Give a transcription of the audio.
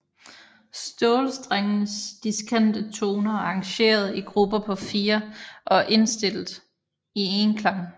Stålstrengenes diskante toner er arrangeret i grupper på 4 og er indstillet i enklang